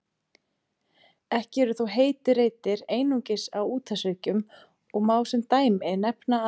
Ekki eru þó heitir reitir einungis á úthafshryggjum og má sem dæmi nefna að